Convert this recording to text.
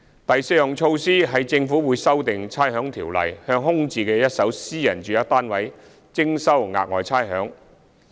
第四項措施，是政府會修訂《差餉條例》，向空置的一手私人住宅單位徵收額外差餉。